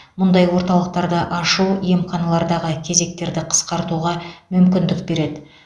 мұндай орталықтарды ашу емханалардағы кезектерді қысқартуға мүмкіндік береді